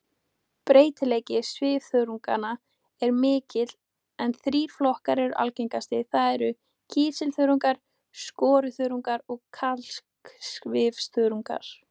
Breytileiki svifþörunganna er mikill en þrír flokkar eru algengastir, það er kísilþörungar, skoruþörungar og kalksvifþörungar.